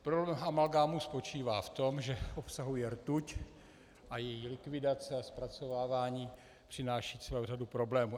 Problém amalgámu spočívá v tom, že obsahuje rtuť a její likvidace a zpracovávání přináší celou řadu problémů.